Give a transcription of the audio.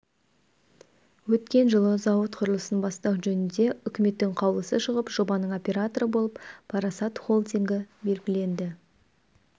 өткен жылы зауыт құрылысын бастау жөнінде үкіметтің қаулысы шығып жобаның операторы болып парасат холдингі белгіленді